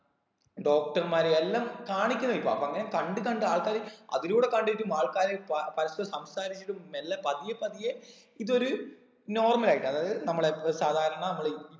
doctor മാര് എല്ലം കാണിക്കുന്ന ഇപ്പൊ അങ്ങനെ കണ്ട് കണ്ട് ആൾക്കാര് അതിലൂടെ കണ്ടിട്ടും ആൾക്കാര് പ പരക്കെ സംസാരിച്ചിട്ട് മെല്ലെ പതിയെ പതിയെ ഇതൊരു normal ആയിട്ട് അതായത് നമ്മളെ സാധാരണ നമ്മള്